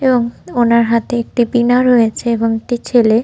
এবং ওনার হাতে একটি বীণা রয়েছে এবং একটি ছেলে --